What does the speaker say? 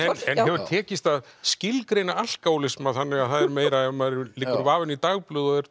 en hefur tekist að skilgreina alkóhólisma þannig að það er meira ef maður liggur vafinn í dagblöð og er